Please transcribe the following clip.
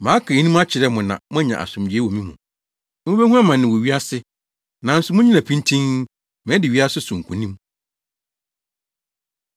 “Maka eyinom akyerɛ mo na moanya asomdwoe wɔ me mu. Mubehu amane wɔ wiase. Nanso munnyina pintinn! Madi wiase so nkonim!”